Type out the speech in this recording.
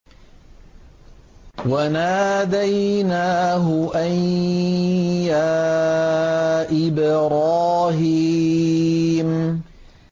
وَنَادَيْنَاهُ أَن يَا إِبْرَاهِيمُ